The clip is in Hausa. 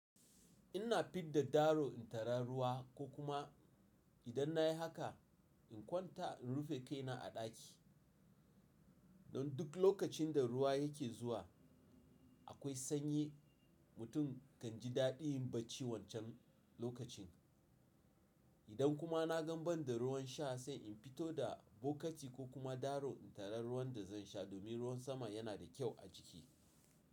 In na fidda daro in tari ruwa ko kuma idan na yi haka in kwanta in rufe kaina a ɗaki. Don duk lokacin da ruwa yake zuwa akwai sanyi, mutum kan ji daɗi yin bacci wancan lokacin. Idan kuma na gan banda ruwan sha sai in fito da bokiti ko kuma daro in tari ruwan da zan sha domin ruwan sama yana da kyau a jiki.